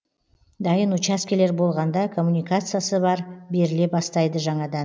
дайын учаскелер болғанда коммуникациясы бар беріле бастайды жаңадан